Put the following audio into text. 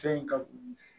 Se in ka